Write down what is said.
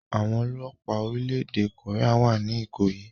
Àwọn ọlọ́pàá orílẹ̀-èdè Korea wà ní Ikoyi